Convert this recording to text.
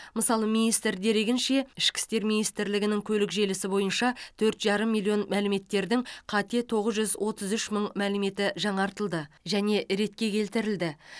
мысалы министр дерегінше ішкі істер министрлігінің көлік желісі бойынша төрт жарым миллион мәліметтердің қате тоғыз жүз отыз үш мың мәліметі жаңартылды және ретке келтірілді